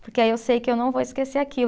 Porque aí eu sei que eu não vou esquecer aquilo.